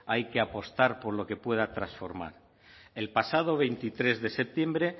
hay que apostar por lo que pueda transformar el pasado veintitrés de septiembre